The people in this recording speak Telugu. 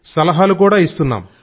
సలహాలు కూడా ఇస్తున్నాం